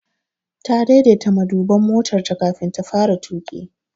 Ta daidaita maduban motarta kafin ta fara tuƙi.